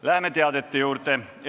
Läheme teadete juurde.